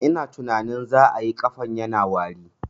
Ina tunanin za ayi, ƙafan yana wari